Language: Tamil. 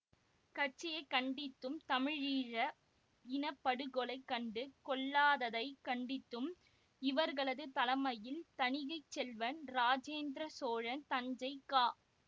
கட்சியை கண்டித்தும் தமிழீழ இன படுகொலை கண்டு கொள்ளாததைக் கண்டித்தும் இவர்களது தலைமையில் தணிகைச்செல்வன் இராசேந்திரச்சோழன் தஞ்சை க